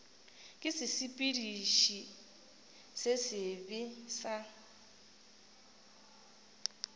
ke sesepediši se sebe sa